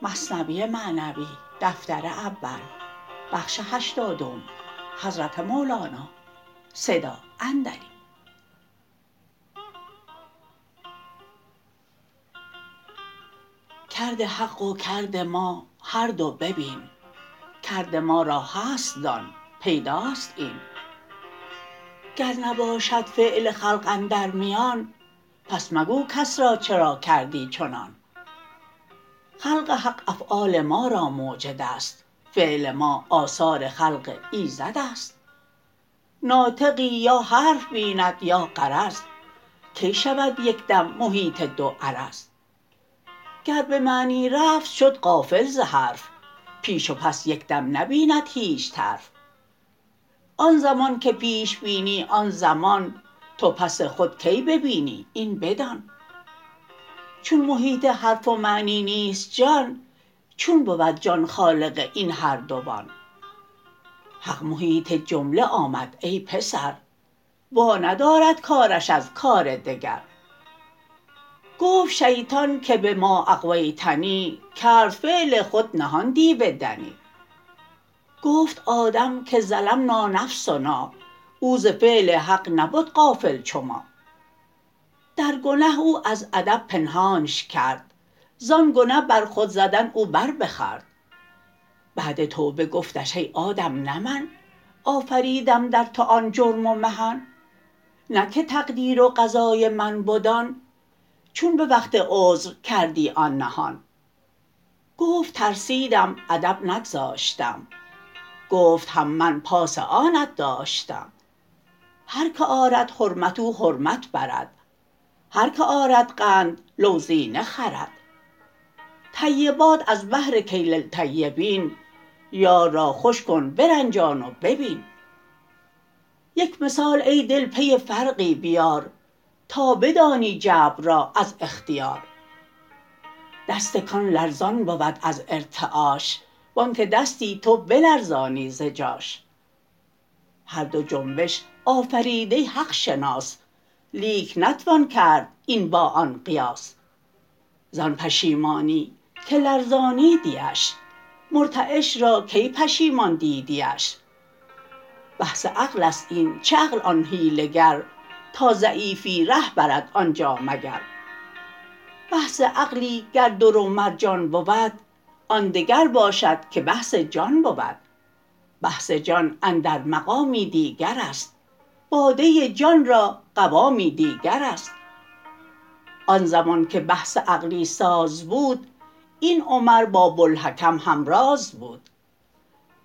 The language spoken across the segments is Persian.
کرد حق و کرد ما هر دو ببین کرد ما را هست دان پیداست این گر نباشد فعل خلق اندر میان پس مگو کس را چرا کردی چنان خلق حق افعال ما را موجدست فعل ما آثار خلق ایزدست ناطقی یا حرف بیند یا غرض کی شود یک دم محیط دو عرض گر به معنی رفت شد غافل ز حرف پیش و پس یک دم نبیند هیچ طرف آن زمان که پیش بینی آن زمان تو پس خود کی ببینی این بدان چون محیط حرف و معنی نیست جان چون بود جان خالق این هر دوان حق محیط جمله آمد ای پسر وا ندارد کارش از کار دگر گفت شیطان که بما اغویتنی کرد فعل خود نهان دیو دنی گفت آدم که ظلمنا نفسنا او ز فعل حق نبد غافل چو ما در گنه او از ادب پنهانش کرد زان گنه بر خود زدن او بر بخورد بعد توبه گفتش ای آدم نه من آفریدم در تو آن جرم و محن نه که تقدیر و قضای من بد آن چون به وقت عذر کردی آن نهان گفت ترسیدم ادب نگذاشتم گفت هم من پاس آنت داشتم هر که آرد حرمت او حرمت برد هر که آرد قند لوزینه خورد طیبات از بهر کی للطیبین یار را خوش کن برنجان و ببین یک مثال ای دل پی فرقی بیار تا بدانی جبر را از اختیار دست کان لرزان بود از ارتعاش وانک دستی تو بلرزانی ز جاش هر دو جنبش آفریده حق شناس لیک نتوان کرد این با آن قیاس زان پشیمانی که لرزانیدیش مرتعش را کی پشیمان دیدیش بحث عقلست این چه عقل آن حیله گر تا ضعیفی ره برد آنجا مگر بحث عقلی گر در و مرجان بود آن دگر باشد که بحث جان بود بحث جان اندر مقامی دیگرست باده جان را قوامی دیگرست آن زمان که بحث عقلی ساز بود این عمر با بوالحکم همراز بود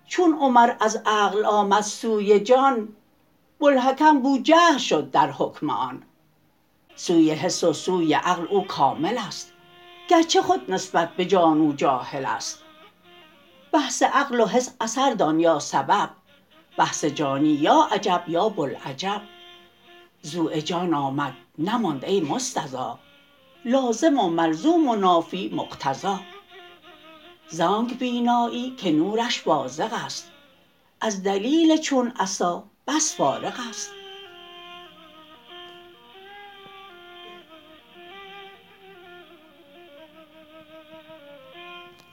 چون عمر از عقل آمد سوی جان بوالحکم بوجهل شد در حکم آن سوی حس و سوی عقل او کاملست گرچه خود نسبت به جان او جاهلست بحث عقل و حس اثر دان یا سبب بحث جانی یا عجب یا بوالعجب ضؤ جان آمد نماند ای مستضی لازم و ملزوم و نافی مقتضی زانک بینایی که نورش بازغست از دلیل چون عصا بس فارغست